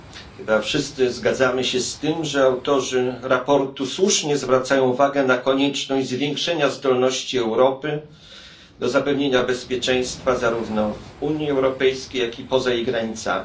Chyba wszyscy zgadzamy się z tym, że autorzy sprawozdania słusznie zwracają uwagę na konieczność zwiększenia zdolności Europy do zapewnienia bezpieczeństwa zarówno w Unii Europejskiej, jak i poza jej granicami.